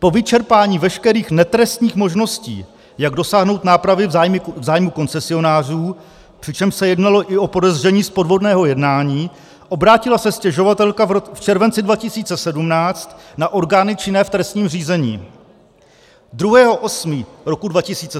Po vyčerpání veškerých netrestních možností, jak dosáhnout nápravy v zájmu koncesionářů, přičemž se jednalo i o podezření z podvodného jednání, obrátila se stěžovatelka v červenci 2017 na orgány činné v trestním řízení.